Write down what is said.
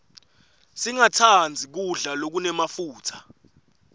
singastandzi kudla lokunemafutsa